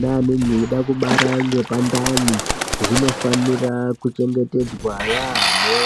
neanenge aida kubara nepandani, zvinofanira kuchengetedzwa yaamho.